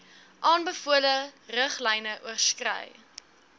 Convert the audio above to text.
aanbevole riglyne oorskry